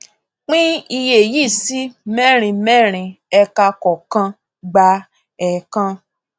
pín iye yìí sí mẹrin mẹrin ẹka kọọkan gba ẹẹkan